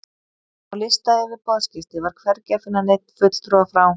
Á lista yfir boðsgesti var hvergi að finna neinn fulltrúa frá